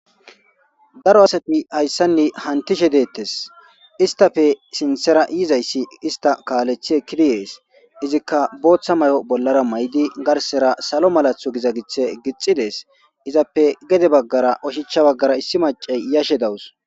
daro asati hayssanne hantishe deettes istafe sinthera yizayssi ista kaalethie kiriyees izikka booththa may7o bollara may7idi garsera salo malatho giza githe gixidees izappe gede baggara oshicha baggara issi macay yashe dawus